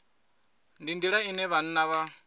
ndi nḓila ine vhanna vha